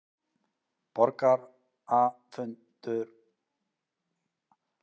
Borgarafundur um stjórnarskrána